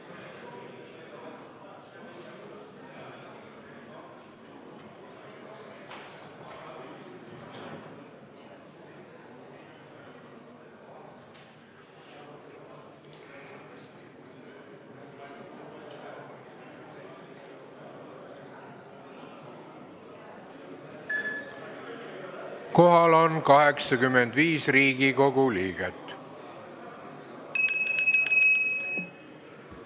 Kohaloleku kontroll Kohal on 85 Riigikogu liiget.